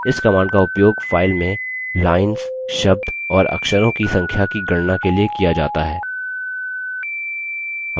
इस command का उपयोग file में lines शब्द और अक्षरों की संख्या की गणना के लिए किया जाता है